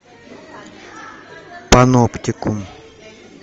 паноптикум